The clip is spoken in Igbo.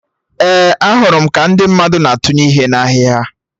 Ee, ahụrụ m ka ndị mmadụ na atụnye ihe na ahịhịa